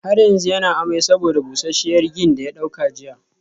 Har yanzu yana amai saboda busasshiyar gin daya dauka jiya